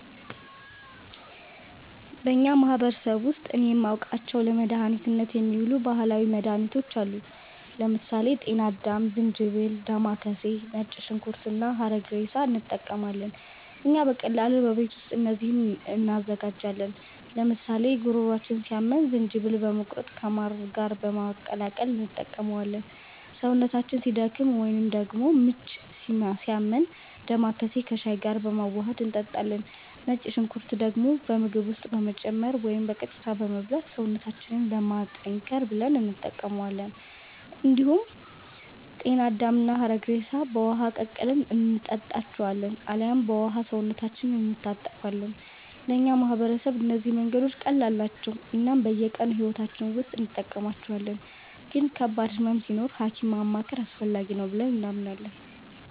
በእኛ ማህበረሰብ ውስጥ እኔ የማውቃቸው ለመድኃኒትነት የሚውሉ ባህላዊ መድኃኒቶች አሉ። ለምሳሌ ጤና አዳም፣ ዝንጅብል፣ ዴማከሴ፣ ነጭ ሽንኩርት እና ሐረግሬሳ እንጠቀማለን። እኛ በቀላሉ በቤት ውስጥ እነዚህን እንዘጋጃለን፤ ለምሳሌ ጉሮሯችንን ሲያመን ዝንጅብልን በመቁረጥ ከማር ጋር በመቀላቀል እንጠቀመዋለን። ሰውነታችን ሲደክም ወይንም ደግሞ ምች ሲያመን ዴማከሴን ከሻይ ጋር በማዋሀድ እንጠጣለን። ነጭ ሽንኩርትን ደግሞ በምግብ ውስጥ በመጨመር ወይም በቀጥታ በመብላት ሰውነታችንን ለማጠንከር ብለን እንጠቀማዋለን። እንዲሁም ጤና አዳምና ሐረግሬሳን በውሃ ቀቅለን እንጠጣቸዋለን አልያም በውሃው ሰውነታችንን እንታጠባለን። ለእኛ ማህበረሰብ እነዚህ መንገዶች ቀላል ናቸው እናም በየቀኑ ሕይወታችን ውስጥ እንጠቀማቸዋለን፤ ግን ከባድ ህመም ሲኖር ሀኪም ማማከር አስፈላጊ ነው ብለንም እናምናለን።